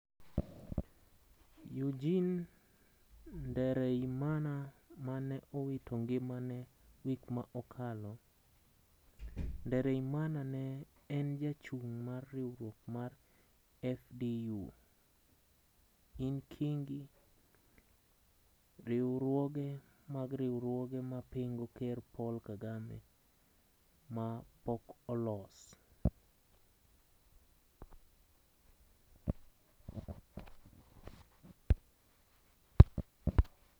Eugine Ndereyimana ma ne owito ngimane wik ma okalo. Ndereyimana ne en jachung mar riwruok mer FDU-Inkingi. riwruoge mag riwruoge ma pingo ker Paul Kagame ma pok olos.